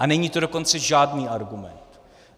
A není to dokonce žádný argument.